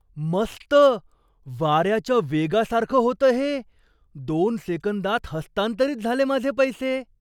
मस्त. वाऱ्याच्या वेगासारखं होतं हे. दोन सेकंदात हस्तांतरित झाले माझे पैसे.